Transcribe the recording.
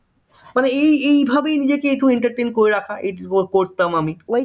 মানে এই এই ভাবেই নিজেকে একটু entertain করে রাখা এইটুকু করতাম আমি